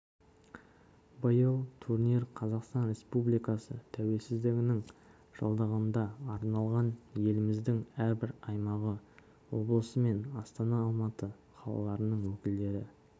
биыл турнир қазақстан республикасы тәуелсіздігінің жылдығына арналған еліміздің әрбір аймағы облысы мен астана алматы қалаларының өкілдері